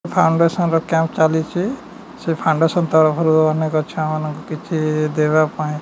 foundation ର camp ଚାଲିଚି ସେ ଫାଉଣ୍ଡେସନ ତରଫରୁ ଅନେକ ଛୁଆ ମାନଙ୍କୁ କିଛି ଦେବା ପାଇଁ --